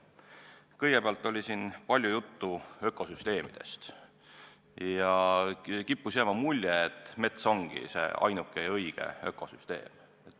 Kõigepealt, siin oli palju juttu ökosüsteemidest ja kippus jääma mulje, et mets ongi see ainuke ja õige ökosüsteem.